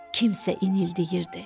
Kimsə inildəyirdi.